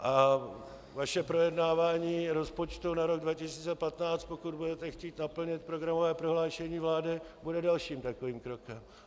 A vaše projednávání rozpočtu na rok 2015, pokud budete chtít naplnit programové prohlášení vlády, bude dalším takovým krokem.